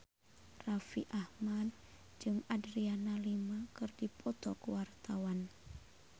Raffi Ahmad jeung Adriana Lima keur dipoto ku wartawan